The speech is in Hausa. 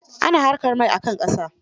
Oil excavation is also done on land.